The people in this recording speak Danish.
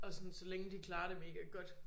Og sådan så længe de klarer det mega godt